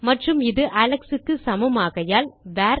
மற்றும் இது அலெக்ஸ் க்கு சமம் ஆகையால் வேர்